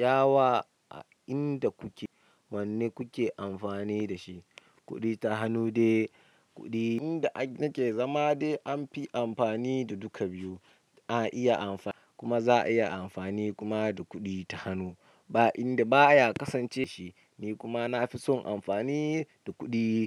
ya wa a inda kuke? Wanne kuke amfani da shi? Kuɗi ta hannu dai kuɗi. Inda nake zama dai an fi amfani da duka biyu. Ana iya amfani, kuma za a iya amfani kuma da kuɗi ta hannu. Ba inda baya kasance shi. Ni kuma nafi son amfani da kuɗi.